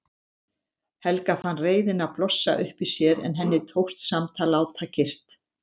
Helga fann reiðina blossa upp í sér en henni tókst samt að láta kyrrt.